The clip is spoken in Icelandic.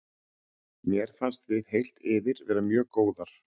Mér fannst við heilt yfir vera mjög góðar.